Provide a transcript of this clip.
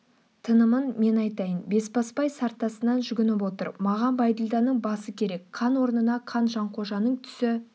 тынымын мен айтайын бесбасбай сартасынан жүгініп отыр маған бәйділданың басы керек қан орнына қан жанқожаның түсі